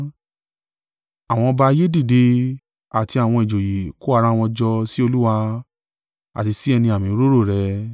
Àwọn ọba ayé dìde, àti àwọn ìjòyè kó ara wọn jọ sí Olúwa, àti sí ẹni àmì òróró rẹ̀.’